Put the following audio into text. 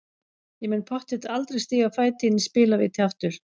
Ég mun pottþétt aldrei stíga fæti inn í spilavíti aftur.